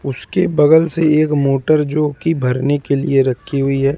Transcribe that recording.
उसके बगल से एक मोटर जो की भरने के लिए रखी हुई है।